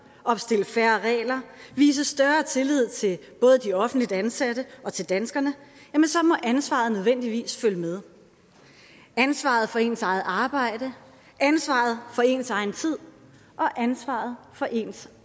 opstille færre regler og vise større tillid til både de offentligt ansatte og til danskerne må ansvaret nødvendigvis følge med ansvaret for ens eget arbejde ansvaret for ens egen tid og ansvaret for ens